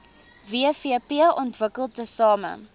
wvp ontwikkel tesame